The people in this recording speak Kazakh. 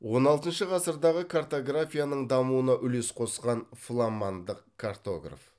он алтыншы ғасырдағы катографияның дамуына үлес қосқан фламандық картограф